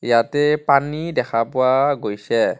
ইয়াতে পানী দেখা পোৱা গৈছে.